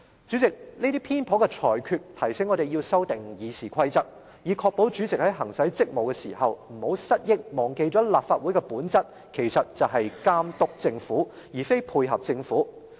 主席，這些偏頗的裁決，提醒我們要修訂《議事規則》，以確保主席在行使職務時，不要失憶，忘記立法會的本質就是監督政府，而非配合政府。